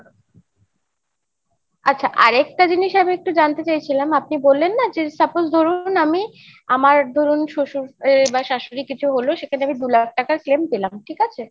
আচ্ছা আরেকটা জিনিস আমি একটু জানতে চাইছিলাম আপনি বললেন না যে suppose ধরুন আমি আমার ধরুন শ্বশুর এর বা শাশুড়ি কিছু হলো সেখানে আমি দু লাখ টাকার claim পেলাম, ঠিক আছে?